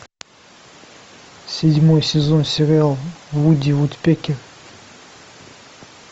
седьмой сезон сериал вуди вудпекер